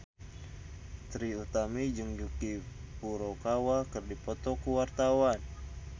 Trie Utami jeung Yuki Furukawa keur dipoto ku wartawan